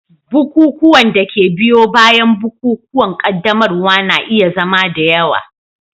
Bukukuwan da ke biyo bayan bukukuwan qaddamarwa na iya zama da yawa.